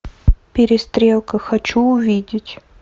перестрелка хочу увидеть